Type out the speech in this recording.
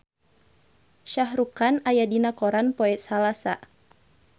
Shah Rukh Khan aya dina koran poe Salasa